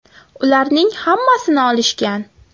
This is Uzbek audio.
Ularning hammasini olishgan.